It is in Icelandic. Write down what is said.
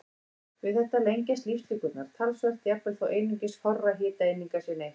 Við þetta lengjast lífslíkurnar talsvert, jafnvel þó einungis fárra hitaeininga sé neytt.